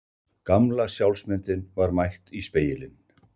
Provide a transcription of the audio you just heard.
Gamla sjálfsmyndin var mætt í spegilinn.